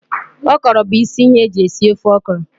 Okro bu isi ihe eji esi ofe okro